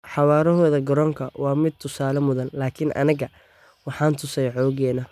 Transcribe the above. Xawaarahooda garoonka waa mid tusaale mudan, laakiin annagana waxaan tusey xooggeena.